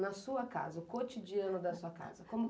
Na sua casa, o cotidiano da sua casa, como